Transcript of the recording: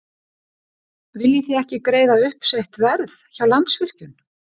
Viljið þið ekki greiða uppsett verð hjá Landsvirkjun?